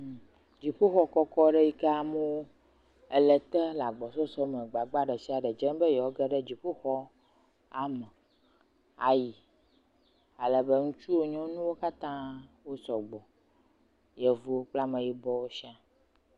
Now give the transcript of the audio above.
Dziƒoxɔ kɔkɔ yi ke amewo le ete le agbagba ɖe sia ɖe dzem be yewoage ɖe dziƒoxɔla me ayi alebe, ŋutsuwo, nyɔnuwo katã wosɔgbɔ, yevuwo kple ameyibɔwo.